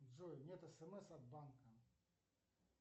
джой нет смс от банка